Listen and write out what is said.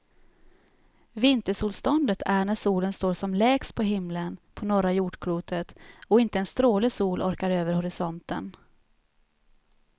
Vintersolståndet är när solen står som lägst på himlen på norra jordklotet och inte en stråle sol orkar över horisonten.